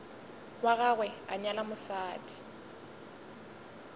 wa gagwe a nyala mosadi